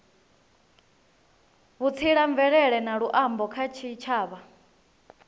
vhutsila mvelele na luambo kha tshitshavha